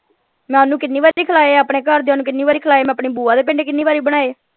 ਮੈਂ ਓਹਨੂੰ ਕਿੰਨੀ ਬਾਰ ਹੀ ਖਿਲਾਏ ਆ ਆਪਣੇ ਘਰਦਿਆਂ ਨੂੰ ਕਿੰਨੀ ਵਾਰ ਹੀ ਖਿਲਾਏ ਮੈਂ ਆਪਣੀ ਬੁਆ ਦੇ ਪਿੰਡ ਕਿੰਨੀ ਬਾਰੀ ਬਣਾਏ।